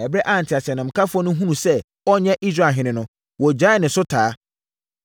Ɛberɛ a nteaseɛnamkafoɔ no hunuu sɛ ɔnyɛ Israelhene no, wɔgyaee ne so taa.